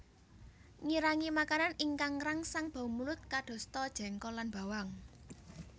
Ngirangi makanan ingkang ngrangsang bau mulut kadosta jengkol lan bawang